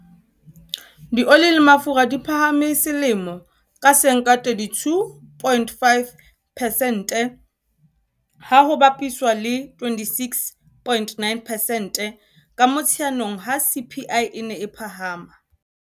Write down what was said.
Dioli le mafura di phahame selemo ka seng ka 32.5 pesente, ha ho bapiswa le 26.9 pesente ka Motsheanong ha CPI e ne e phahama.